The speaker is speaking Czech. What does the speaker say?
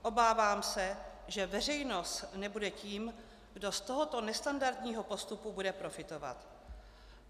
Obávám se, že veřejnost nebude tím, kdo z tohoto nestandardního postupu bude profitovat.